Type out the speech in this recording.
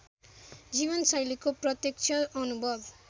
जीवनशैलीको प्रत्यक्ष अनुभव